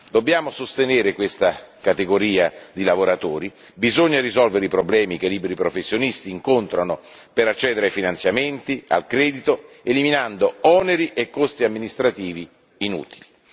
Dobbiamo sostenere questa categoria di lavoratori, bisogna risolvere i problemi che i liberi professionisti incontrano per accedere ai finanziamenti, al credito, eliminando oneri e costi amministrativi inutili.